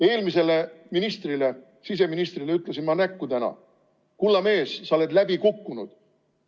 Eelmisele ministrile, siseministrile ütlesin ma täna näkku: kulla mees, sa oled läbi kukkunud!